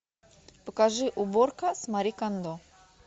покажи уборка с мари кондо